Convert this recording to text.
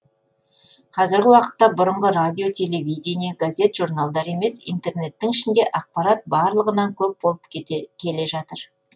қазіргі уақытта бұрынғы радио телевидение газет журналдар емес интернеттің ішінде ақпарат барлығынан көп болып келе жатыр